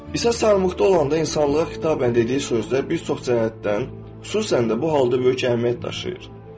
İsa salibdə olanda insanlığa xitabən dediyi sözlər bir çox cəhətdən, xüsusən də bu halda böyük əhəmiyyət daşıyır.